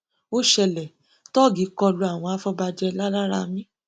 ó ṣẹlẹ tóògì kọ lu àwọn afọbajẹ laráramí